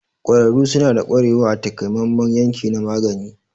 Ƙwararru suna da ƙwarewa a takamaiman yanki na magani.